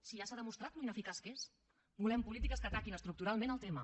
si ja s’ha demostrat com és d’ineficaç volem polítiques que ataquin estructuralment el tema